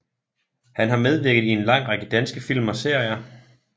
Han har medvirket i en lang række danske film og serier